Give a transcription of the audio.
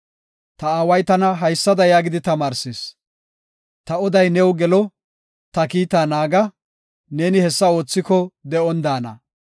Ta aaway tana haysada yaagidi tamaarsis; “Ta oday new gelo; ta kiita naaga; neeni hessa oothiko de7on daana.